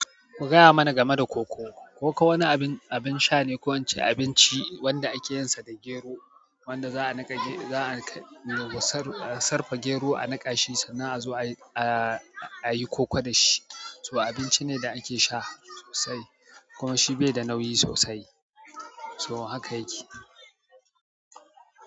Ku gaya mana game da koko. Koko wani abin, abin sha ne ko ince abinci wanda ake yinsa da gero wanda za'a niƙa ge-, za'a a sarfa gero a niƙa shi sannan a zo a, a, a yi koko da shi. So abinci ne da ake sha sosai kuma shi bai da nauyi sosai. To haka yake.